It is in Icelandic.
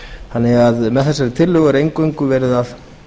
þannig að með þessari tillögu er eingöngu verið að